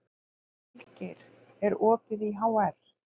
Vilgeir, er opið í HR?